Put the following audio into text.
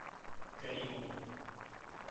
каримову